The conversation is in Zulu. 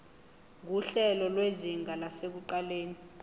nguhlelo lwezinga lasekuqaleni